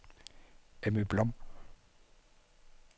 Emmy Blom